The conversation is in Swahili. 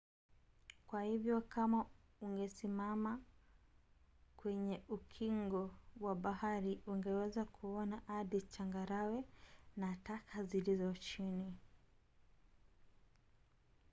kwa hivyo kama ungesimama kwenye ukingo wa bahari ungeweza kuona hadi changarawe na taka zilizo chini